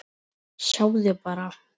Sjáðu bara!